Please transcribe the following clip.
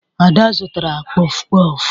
Ada zụtara kpọfụ kpọfụ